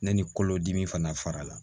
Ne ni kolodimi fana fara la